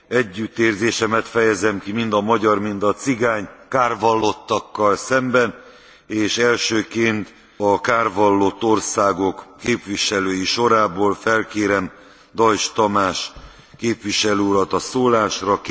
Együttérzésemet fejezem ki mind a magyar, mind a cigány kárvallottakkal szemben, és elsőként a kárvallott országok képviselői sorából felkérem Deutsch Tamás képviselő urat a szólásra.